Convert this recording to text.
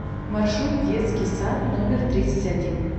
маршрут детский сад номер тридцать один